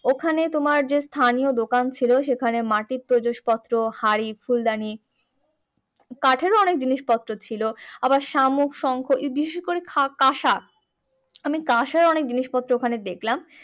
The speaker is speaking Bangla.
ওখানে তোমার যে স্থানীয় দোকান ছিল সেখানে মাটির প্রজসপত্র হাঁড়ি ফুলদানি কাঠেরও অনেক জিনিস পত্র ছিল আবার শামুক শঙ্খ ওই বিশেষ করে কাঁসা আমি কাঁসার অনেক জিনিস পত্র আমি দেখলাম